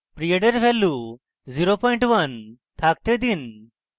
period এর value 01 থাকতে দিন